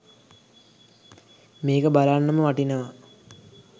මේක බලන්නම වටිනවා